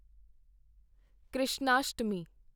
Krishnashtami